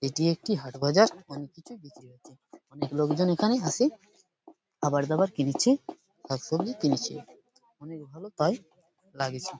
এটি একটি হাট বাজার | অনেক লোকজন এখানে আসে খাবারদাবার কিনেছে শাকসবজি কিনেছে অনেক ভালো তাই লাগছে ।